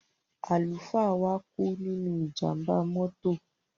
Àlùfáà wa kú nínú ìjàmbá mọ́tò.